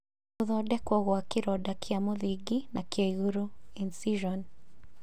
Gũthondekwo gwa kĩronda kĩa mũthingi na kĩa igũrũ (incision)